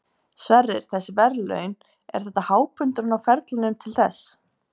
Sverrir, þessi verðlaun, er þetta hápunkturinn á ferlinum til þess?